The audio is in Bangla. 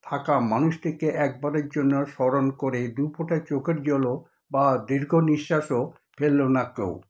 থাকা মানুষটিকে একবারের জন্য স্মরণ করে দু ফোঁটা চোখের জলও বা দীর্ঘ নিঃশ্বাসও ফেললো না কেউ,